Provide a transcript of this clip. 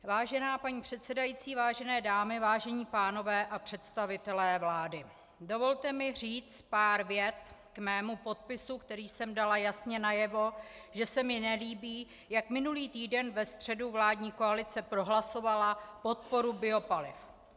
Vážená paní předsedající, vážené dámy, vážení pánové a představitelé vlády, dovolte mi říct pár vět k mému podpisu, kterým jsem dala jasně najevo, že se mi nelíbí, jak minulý týden ve středu vládní koalice prohlasovala podporu biopaliv.